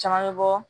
Caman bɛ bɔ